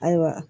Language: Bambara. Ayiwa